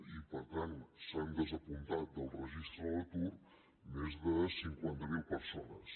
i per tant s’han desapuntat del registre de l’atur més de cinquanta mil persones